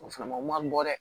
O fana o man nɔgɔn dɛ